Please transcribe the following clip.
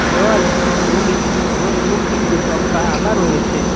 দেওয়ালে রঙিন চিত্র এবং কিছু সংখ্যা আঁকা রয়েছে।